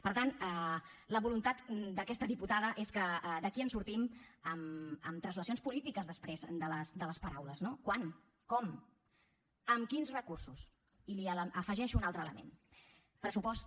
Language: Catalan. per tant la voluntat d’aquesta diputada és que d’aquí en sortim amb translacions polítiques després de les paraules no quan com amb quins recursos i afegeixo un altre element pressupost